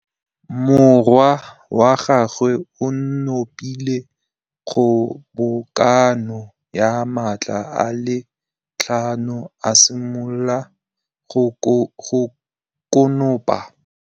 Morwa wa gagwe o nopile kgobokanô ya matlapa a le tlhano, a simolola go konopa.